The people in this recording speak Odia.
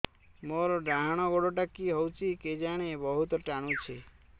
ମୋର୍ ଡାହାଣ୍ ଗୋଡ଼ଟା କି ହଉଚି କେଜାଣେ ବହୁତ୍ ଟାଣୁଛି